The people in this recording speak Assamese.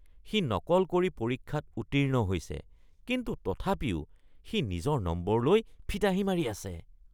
সি নকল কৰি পৰীক্ষাত উত্তীৰ্ণ হৈছে আৰু তথাপিও কিন্তু সি নিজৰ নম্বৰলৈ ফিতাহি মাৰি আছে।